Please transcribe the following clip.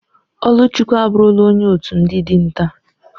Oluchukwu aburula onye otu ndi dinta.